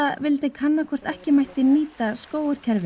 vildi kanna hvort ekki mætti nýta